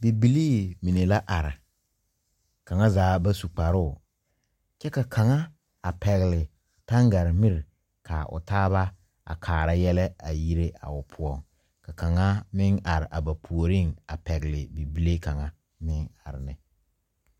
Bibilii mene la arẽ kanga zaa ba su kparoo kye ka kanga pɛgle tangare miri ka ɔ taaba a kaara yele a yiree a ɔ puo ka kanga meng arẽ a ba pouring a pɛgli bibile kanga meng arẽ ne.